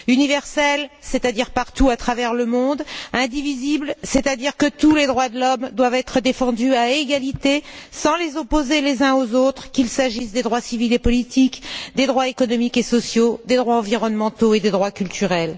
Universelle, c'est à dire partout à travers le monde, indivisible, c'est à dire que tous les droits de l'homme doivent être défendus à égalité, sans les opposer les uns aux autres, qu'il s'agisse des droits civils et politiques, des droits économiques et sociaux, des droits environnementaux et des droits culturels.